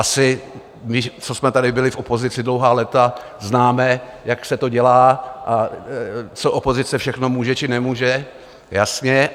Asi my, co jsme tady byli v opozici dlouhá léta, známe, jak se to dělá a co opozice všechno může či nemůže, jasně.